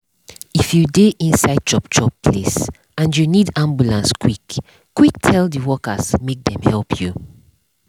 if you dey inside chop chop place and you need ambulance quick quick tell the workers make dem help you.